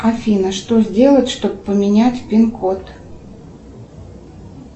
афина что сделать чтобы поменять пин код